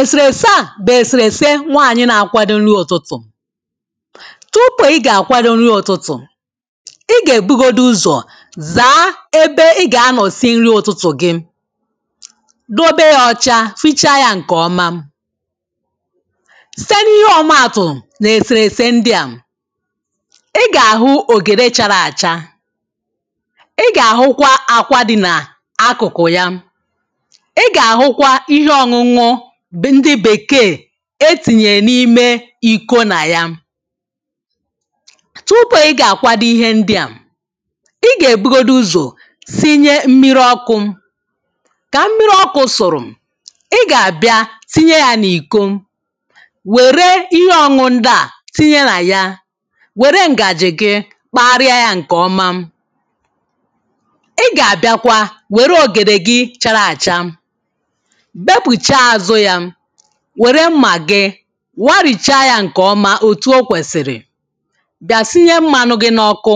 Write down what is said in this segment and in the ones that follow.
èsèrèse à bụ̀ èsèrèse nwaanyị na-akwado nri ụ̀tụtụ̀ tupù ị ga-akwado nri ụ̀tụtụ̀ ị gà-èbugodi uzọ̀ zaa ebe ị gà-ànọ̀ sie nri ụ̀tụtụ̀ gị dobe ya ọcha, hichaa ya ǹkè ọma site n’ihe ọmaàtụ̀ n’èsèrèse ndịà ị gà-àhụ ògède chara àcha ị gà-àhụkwa akwadi nà akụ̀kụ̀ ya ndị bèkee etìnyè n’ime ikȯ nà ya tupu ị gà-àkwado ihe ndịà ị gà-èbugodi uzò sinye mmiri ọkụ̇ kà mmiri ọkụ̇ sụ̀rụ̀ ị gà-àbịa tinye ya n’iko wère ihe ọṅụṅụ dị̀ à tinye nà ya wère ǹgàjì gị kpagharịa ya ǹkè ọma ị gà-àbịakwa wère ògèdè gị chara àcha wère mmà gị warìchaa yȧ ǹkè ọma òtù okwèsìrì bịa sinye mmadụ gị n’ọkụ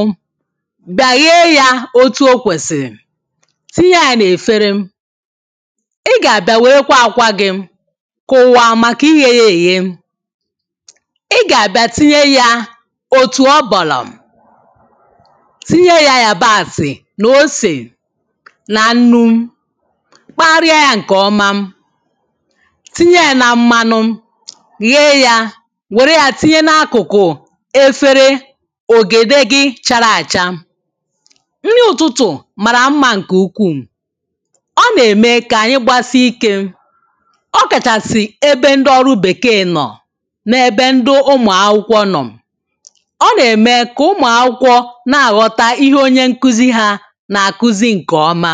bịa ghee yȧ òtù okwèsìrì tinye yȧ n’èfere ị gà-àbịa wèrekwa àkwa gị kụwa màkà igė yȧ èghe ị gà-àbịa tinye yȧ òtù ọ bọlà tinye yȧ yàbasị nà osè nà nnu kparịa yȧ ǹkè ọma tinye ya nà mmanụ̇ ghè ya wère ya tinye n’akụ̀kụ̀ efere ògèdè gị chara àcha nri ụtụtụ̀ marà mmȧ ǹkè ukwuu ọ nà-ème kà ànyị gbasi ikė ọkàchàsị̀ ebe ndị ọrụ bèkee nọ̀ nà ebe ndị ụmụ̀akwụkwọ nọ̀ ọ nà-ème kà ụmụ akwụkwọ na-àghọta ihe onye nkuzi ha nà-àkuzi ǹkè ọma